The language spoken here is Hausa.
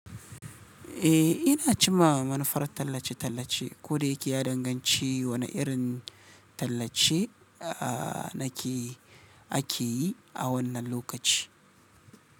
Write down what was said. Eh, ina cimawa manufar tallace-tallace, koda yake ya danganci wane irin tallace nake yi, akeyi a wannan lokaci.